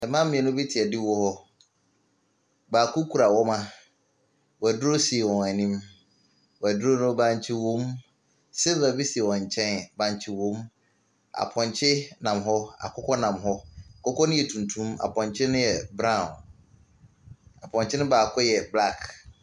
Mmaa mmienu te adiwo hɔ, baako kura wɔma, wɔduro si wɔn anim. Wɔduro no bankye wom, silfa bi si wɔn nkyɛn bankye wom. Aponkye nam hɔ, akokɔ nam hɔ. Akokɔ ne yɛ tuntum ena aponkye ne yɛ brauw. Aponkye no baako yɛ blak.